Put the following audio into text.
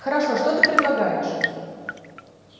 хорошо что ты предлагаешь